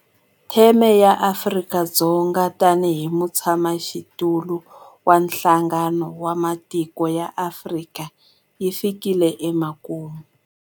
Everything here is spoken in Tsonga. Theme ya Afrika-Dzonga tanihi mutshamaxitulu wa Nhlangano wa Matiko ya Afrika yi fikile emakumu.